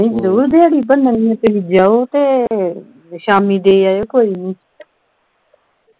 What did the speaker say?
ਜਰੂਰ ਦਿਹਾੜੀ ਭੰਨਣੀ ਹੈ ਤੁਸੀ ਜਾਓ ਤੇ ਸ਼ਾਮੀ ਦੇ ਆਇਉ ਕੋਈ ਨੀ